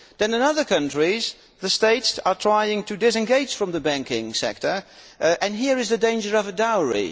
In other countries, the states are trying to disengage from the banking sector, and here there is the danger of a dowry.